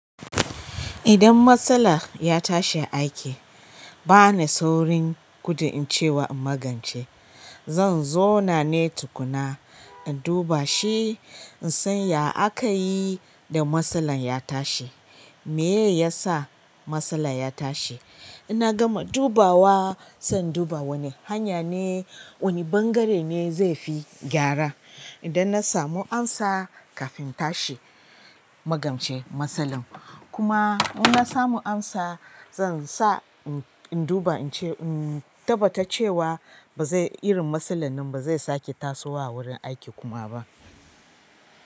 Idan matsala ya tashi aiki, ba ni saurin gudu in ce wa in magance. Zan zauna ne tukuna, in duba shi, in san ya aka yi da masalan ya tashi. Meyye ya sa masala ya tashi? Ina gama dubawa, sai in duba wane hanya ne, wane ɓangare ne zai fi gyara. Idan na samu amsa kafin in tashi magance masalan. Kuma in na samu amsa, zan sa in duba, in ce in tabbata cewa ba zai, irin masalan nan ba zai sake tasowa a wurin aiki kuma ba.